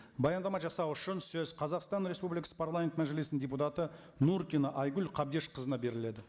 баяндама жасау үшін сөз қазақстан республикасы парламент мәжілісінің депутаты нуркина айгүл қабдешқызына беріледі